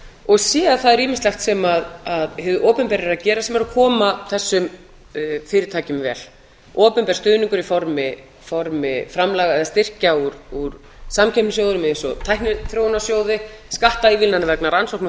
og sé að það er ýmislegt sem hið opinbera er að gera sem er að koma þessum fyrirtækjum vel opinber stuðningur í formi framlaga eða styrkja úr samkeppnissjóðum eins og tækniþróunarsjóði skattaívilnanir vegna rannsókna og